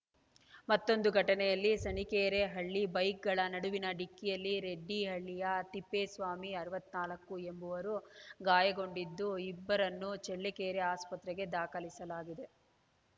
ಮತ್ತೊಂದು ಘಟನೆಯಲ್ಲಿ ಸಾಣೀಕೆರೆ ಬಳಿ ಬೈಕ್‌ಗಳ ನಡುವಿನ ಡಿಕ್ಕಿಯಲ್ಲಿ ರೆಡ್ಡಿಹಳ್ಳಿಯ ತಿಪ್ಪೇಸ್ವಾಮಿ ಅರವತ್ತ್ ನಾಲ್ಕು ಎಂಬುವರು ಗಾಯಗೊಂಡಿದ್ದು ಇಬ್ಬರನ್ನೂ ಚಳ್ಳಕೆರೆ ಆಸ್ಪತ್ರೆಗೆ ದಾಖಲಿಸಲಾಗಿದೆ